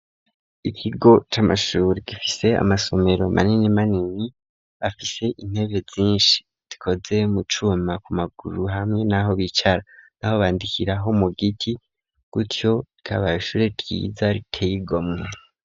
Ikigo c'amashure gifise amasomero manini manini afise intebe nyinshi zikoze mu cuma ku maguru hamwe n'aho bicara naho bandikiraho mu giti gutyo rikaba ishure ryiza riteye igomwe.